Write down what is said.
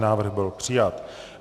Návrh byl přijat.